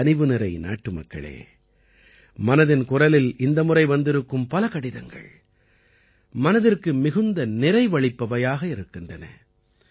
என் கனிவுநிறை நாட்டுமக்களே மனதின் குரலில் இந்த முறை வந்திருக்கும் பல கடிதங்கள் மனதிற்கு மிகுந்த நிறைவையளிப்பவையாக இருக்கின்றன